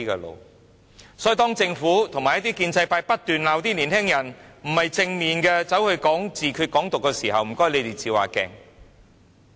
因此，當政府及一些建制派不斷責罵年輕人不正面，批評他們宣揚自決、"港獨"的時候，請你們照照鏡子。